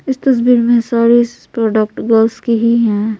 इस तस्वीर में सारी प्रोडक्ट गर्ल्स की ही है।